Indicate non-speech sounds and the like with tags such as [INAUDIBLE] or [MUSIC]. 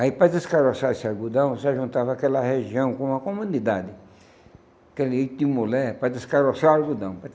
Aí, para descaroçar esse algodão, você juntava aquela região com uma comunidade, aquele [UNINTELLIGIBLE] de mulher, para descaroçar o algodão.